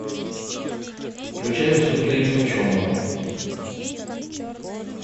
включай выступление ученого